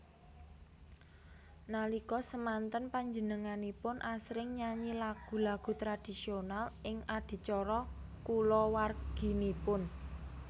Nalika semanten panjenenganipun asring nyanyi lagu lagu tradisional ing adicara kulawarginipun